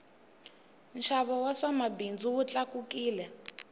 nxavo wa swa mabindzu wu tlakukile